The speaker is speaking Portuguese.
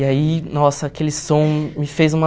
E aí, nossa, aquele som me fez uma...